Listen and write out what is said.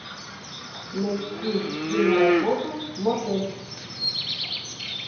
найти киноработу мотель